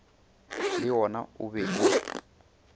le wona o be o